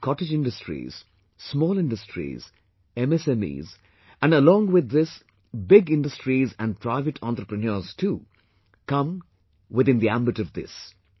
Be it cottage industries, small industries, MSMEs and along with this big industries and private entrepreneurs too come in the ambit of this